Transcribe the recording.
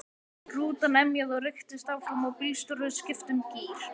Rútan emjaði og rykktist áfram og bílstjórinn skipti um gír.